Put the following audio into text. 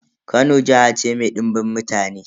Kano jiha ce mai dimbin mutane.